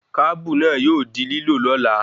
Kábù náà yóò di lílò lola